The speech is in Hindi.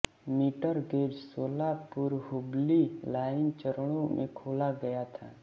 मीटर गेज सोलापुरहुबली लाइन चरणों में खोला गया था